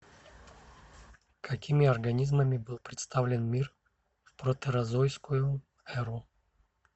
какими организмами был представлен мир в протерозойскую эру